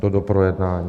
Do doprojednání.